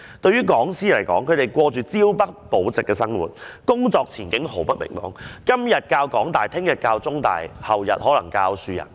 對於講師來說，他們過着朝不保夕的生活，工作前景毫不明朗，今天教香港大學，明天教香港中文大學，後天可能是教香港樹仁大學。